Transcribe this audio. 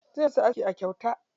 Zai musu aski a kyauta.